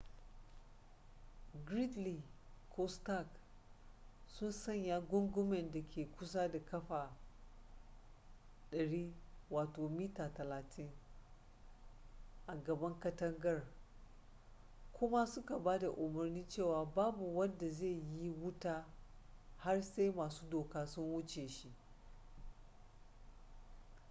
gridley ko stark sun sanya gungumen da ke kusa da ƙafa 100 mita 30 a gaban katangar kuma suka ba da umarnin cewa babu wanda zai yi wuta har sai masu doka sun wuce shi